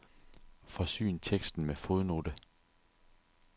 Forsyn teksten med fodnote.